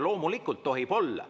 Loomulikult tohib olla.